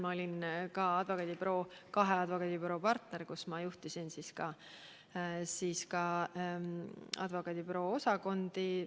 Ma olin ka kahe advokaadibüroo partner, juhtisin seal advokaadibüroo osakondi.